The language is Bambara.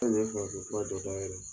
Anw kun ye farafi fura dɔ yɛlɛɛ